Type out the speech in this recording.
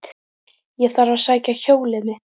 Ég þarf að sækja hjólið mitt.